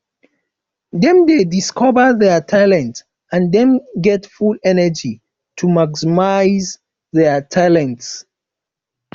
dem de discover their talent and dem get full energy to maximise their talents